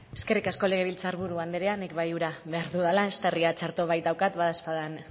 eskerrik asko legebiltzar buru andrea nik bai ura behar dudala eztarria txarto baitaukat badaezpada